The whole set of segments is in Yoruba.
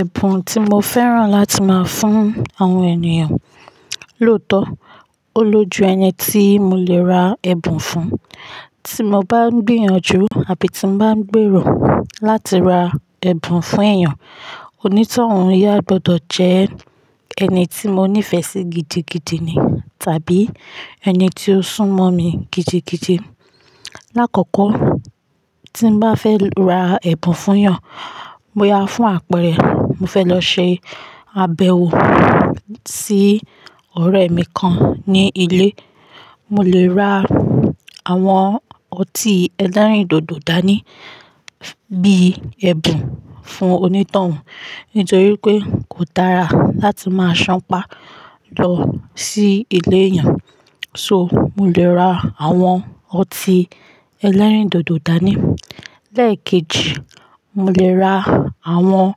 Ẹ̀bùn tí mo fẹ́ràn láti máa fún àwọn ènìyàn, lóòótọ́, ó lójú ẹni tí mo lè ra ẹ̀bùn fún. Tí mo bá ń gbìyànjú àbí tí bá ń gbèrò láti ra ẹ̀bùn fún èèyàn, onítọ̀hún yá gbọdọ̀ jẹ́ ẹni tí mo nífẹ̀ẹ́ sí gidigidi ni, tàbí ẹni tí ó sún mọ́ mi gidigidi. Láàkọ́kọ́, tí mò bá fẹ́ ra ẹ̀bùn fún èèyàn, boyá fún àpẹẹrẹ, mo fẹ́ lọ ṣe àbẹ̀wò sí ọ̀rẹ́ mi kan ní ilé, mo lè ra àwọn ọtí ẹlẹ́rìndòdò dání bíi ẹ̀bùn fún onítọ̀hún. Nítorí pé kò dára láti máa sanpá lọ sí ilé èèyàn. So, mo lè ra àwọn ọtí ẹlẹ́rìndòdò dání. Lẹ́ẹ̀kejì, mo lè ra àwọn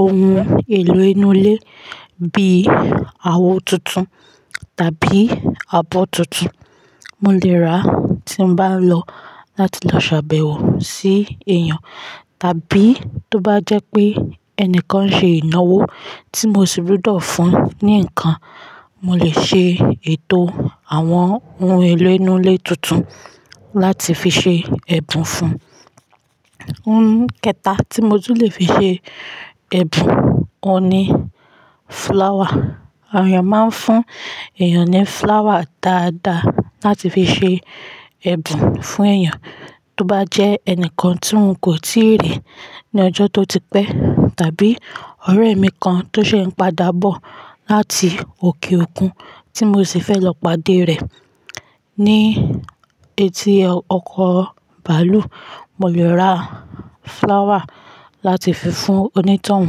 ohun èlò inú ilé bíi àwo tuntun tàbí abọ́ tuntun. Mo lè ra tí bá lọ láti lọ ṣàbẹ̀wò sí èèyàn tàbí tó bá jẹ́ pé ẹnìkan ṣe ìnáwó tí mo sì gbúdọ̀ fún un ní ǹkan, mo lè ṣe ètò àwọn ohun èlò inú ilé tuntun láti fi ṣe ẹ̀bùn fún un. Ohun kẹta tí mo tún lè fi ṣe ẹ̀bùn, òun ni flower. Àwọn èèyàn máa ń fún èèyàn ní flower dáadáa láti fi ṣe ẹ̀bùn fún èèyàn. Tó bá jẹ́ ẹnìkan tí n kò tíì rí ní ọjọ́ tó ti pẹ́ tàbí ọ̀rẹ́ mi kan tó ṣe ń padà bọ̀ láti òkè òkun tí mo sì fẹ́ lọ pàdé rẹ̀ ní etí ọkọ̀ bàálù, mo lè ra flower láti fi fún onítọ̀hún.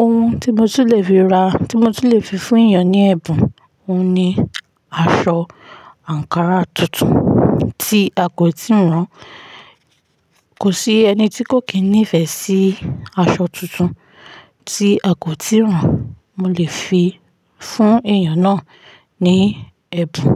Ohun tí mo tún lè fi ra, tí mo tún lè fi fún èèyàn ní ẹ̀bùn, òun ni aṣọ àǹkárá tuntun tí a kò tíì rán. Kò sí ẹni tí kò kín ní ìfẹ́ sí aṣọ tuntun tí a kò tíì rán. Mo lè fi fún èèyàn náà ní ẹ̀bùn.